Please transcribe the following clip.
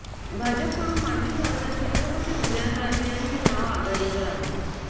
भाजपकडून माजी खासदार छत्रपती उदयनराजे यांचे नाव आघाडीवर आहे